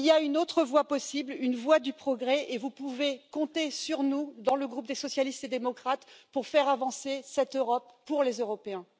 Il y a une autre voie possible, une voie du progrès, et vous pouvez compter sur nous, dans le groupe des socialistes et démocrates, pour faire avancer cette Europe pour les Européens.